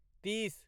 तीस